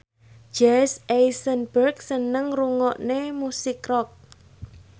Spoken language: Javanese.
Jesse Eisenberg seneng ngrungokne musik rock